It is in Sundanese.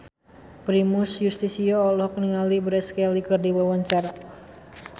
Primus Yustisio olohok ningali Grace Kelly keur diwawancara